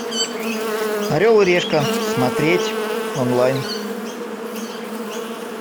орел и решка смотреть онлайн